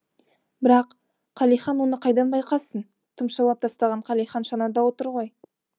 бірақ қалихан оны қайдан байқасын тұмшалап тастаған қалихан шанада отыр ғой